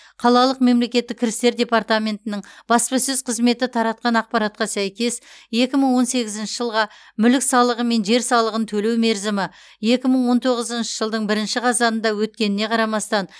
қалалық мемлекеттік кірістер департаментінің баспасөз қызметі таратқан ақпаратқа сәйкес екі мың он сегізінші жылға мүлік салығы мен жер салығын төлеу мерзімі екі мың он тоғызыншы жылдың бірінші қазанында өткеніне қарамастан